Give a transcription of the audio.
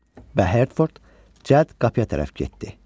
Və Hertford Cəd qapıya tərəf getdi.